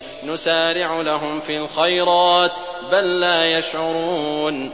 نُسَارِعُ لَهُمْ فِي الْخَيْرَاتِ ۚ بَل لَّا يَشْعُرُونَ